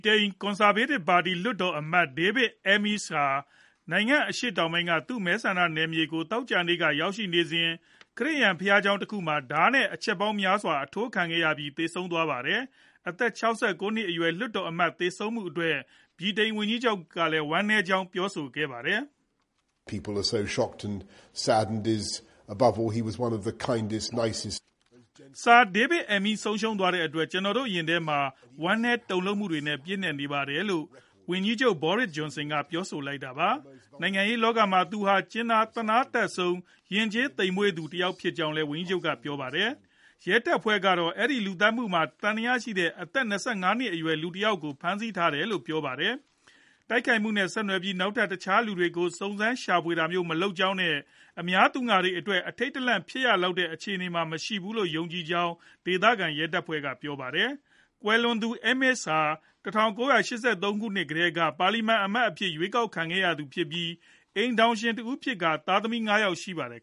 တိန် ကွန်ဆာဗေးတစ်ပါတီ လွှတ်တော်အမတ် David Amess ဟာ နိုင်ငံအရှေ့ တောင်ပိုင်းက သူ့မဲဆန္ဒနယ်မြေဖြစ်ကို သောကြာနေ့က ရောက်နေစဉ် ခရစ်ယာန်ဘုရားကျောင်းတခုမှာ ဓါးနဲ့ အချက်ပေါင်းများစွာ အထိုးခံရပြီး သေဆုံးသွားပါတယ်။ အသက် ၆၉ နှစ်အရွယ် လွှတ်တော်အမတ် သေဆုံးမှုအတွက် ဗြိတိန်ဝန်ကြီးချုပ်ကလည်း ဝမ်းနည်းကြောင်း ပြောဆိုခဲ့တာပါ။ "Sir David Amess ကို ဆုံးရှုံးရတဲ့အတွက် ကျနော်တို့ ရင်ထဲမှာ ဝမ်းနည်းတုန်လှုပ်မှုတွေနဲ့ ပြည့်နှက်နေပါတယ်။" လို့ ဝန်ကြီးချုပ် Boris Johnson ပြောဆိုလိုက်တာပါ။ နိုင်ငံရေးလောကမှာ သူဟာ ကြင်နာသနားတတ်ဆုံး၊ ယဉ်ကျေးသိပ်မွေ့ဆုံးသူ တဦးဖြစ်ကြောင်းလည်း ဝန်ကြီးချုပ်က ပြောပါတယ်။ ရဲတပ်ဖွဲ့ကတော့ အဲဒီလူသတ်မူမှာ သံသယရှိတဲ့ အသက် ၂၅နှစ်အရွယ် လူငယ်တယောက်ကို ဖမ်းဆီးထားတယ်လို့ပြောပါတယ်။ တိုက်ခိုက်မှုနဲ့ ဆက်နွယ်ပြီး နောက်ထပ် တခြားလူတွေကို စုံစမ်းရှာဖွေ နေတာမျိုး မရှိကြောင်းနဲ့ အများပြည်သူအတွက် အထိတ်တလန့် ဖြစ်ရလောက်တဲ့ အခြေအနေမှာ မရှိဘူးလို့ ယုံကြည်ကြောင်းလည်း ဒေသခံရဲတပ်ဖွဲ့က ပြောပါတယ်။ ကွယ်လွန်သူ Amess ဟာ ၁၉ ၈၃ ခုနှစ်ကတည်းက ပါလီမန်အမတ်အဖြစ် ရွေးကောက်ခံခဲ့ရသူဖြစ်ပြီး အိမ်ထောင်ရှင်တဦးဖြစ်ကာ သားသမီး ၅ယောက်ရှိပါတယ်